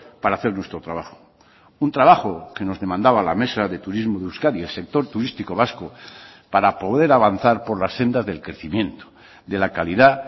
para hacer nuestro trabajo un trabajo que nos demandaba la mesa de turismo de euskadi el sector turístico vasco para poder avanzar por la senda del crecimiento de la calidad